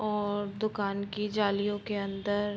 और दुकान की जालियों के अंदर --